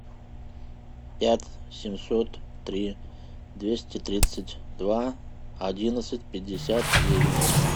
пять семьсот три двести тридцать два одиннадцать пятьдесят девять